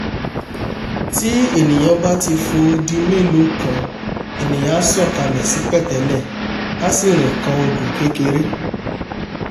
tí ènìà bá ti fo odi mélòó kan ènìà á sọ̀ kalẹ̀ sí pẹ̀tẹ́lẹ̀ á sì rìn kan odò kékeré